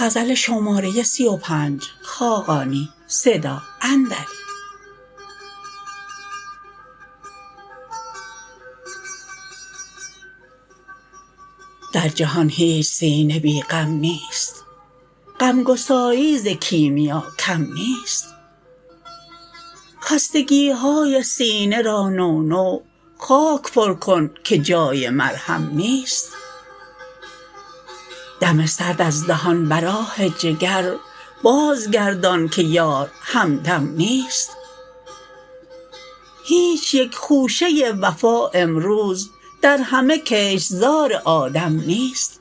در جهان هیچ سینه بی غم نیست غمگساری ز کیمیا کم نیست خستگی های سینه را نونو خاک پر کن که جای مرهم نیست دم سرد از دهان بر آه جگر بازگردان که یار همدم نیست هیچ یک خوشه وفا امروز در همه کشتزار آدم نیست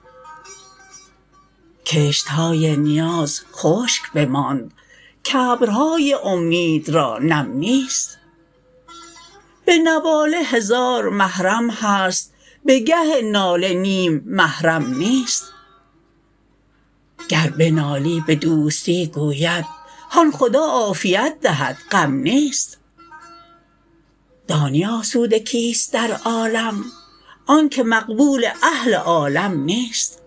کشت های نیاز خشک بماند که ابرهای امید را نم نیست به نواله هزار محرم هست به گه ناله نیم محرم نیست گر بنالی به دوستی گوید هان خدا عافیت دهد غم نیست دانی آسوده کیست در عالم آنکه مقبول اهل عالم نیست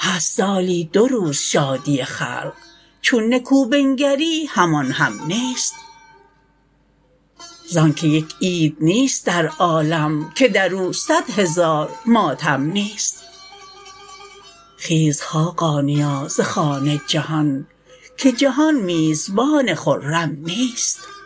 هست سالی دو روز شادی خلق چون نکو بنگری همان هم نیست زانکه یک عید نیست در عالم که در او صد هزار ماتم نیست خیز خاقانیا ز خوان جهان که جهان میزبان خرم نیست